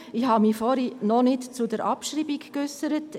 Ich habe mich vorhin noch nicht zur Abschreibung geäussert.